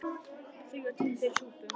Þó var tími fyrir súpu.